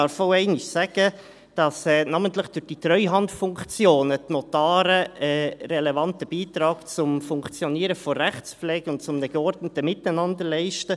Man darf auch einmal sagen, dass die Notare namentlich durch die Treuhandfunktionen einen relevanten Beitrag zum Funktionieren der Rechtspflege und zu einem geordneten Miteinander leisten.